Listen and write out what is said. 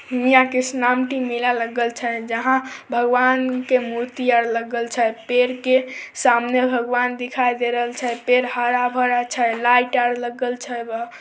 मेला लागल छै भगवान के मूर्ति सामने लागल छै पेड़ के सामने भगवान दिखाई दे रहल छै पेड़ हरा-भरा छैलाइट आर लगल छै ।